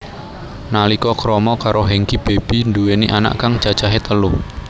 Nalika krama karo Hengky Baby nduweni anak kang cacahe telu